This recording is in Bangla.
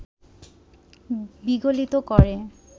বিগলিত করে